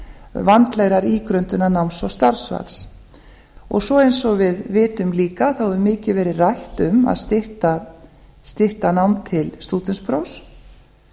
vandlegrar ígrundunar náms og starfsval og eins og við vitum líka hefur mikið verið rætt um að stytta nám til stúdentsprófs